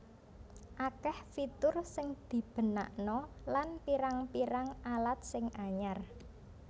Akeh fitur sing dibenakna lan pirang pirang alat sing anyar